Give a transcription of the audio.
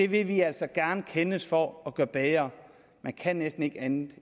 vi vil altså gerne kendes for at bedre man kan næsten ikke andet